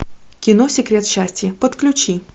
кино секрет счастья подключи